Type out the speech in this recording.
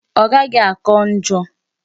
Ọ gaghị áká njọ.